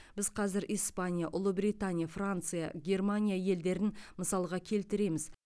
біз қазір испания ұлыбритания франция германия елдерін мысалға келтіреміз